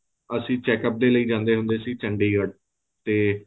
ਅਸੀਂ checkup ਦੇ ਲਈ ਜਾਂਦੇ ਹੁੰਦੇ ਸੀ ਚੰਡੀਗੜ੍ਹ ਤੇ